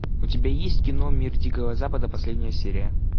у тебя есть кино мир дикого запада последняя серия